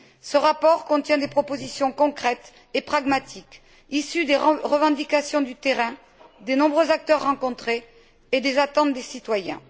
Ce rapport contient des propositions concrètes et pragmatiques, issues des revendications du terrain, des nombreux acteurs rencontrés et des attentes des citoyens.